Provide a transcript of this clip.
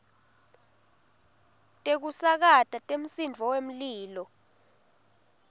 tekusakata temsindvo wemlilo